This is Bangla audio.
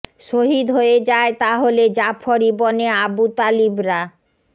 শহীদ হয়ে যায় তাহলে জাফর ইবনে আবু তালিব রা